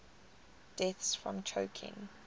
deaths from choking